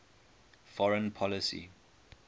foreign policy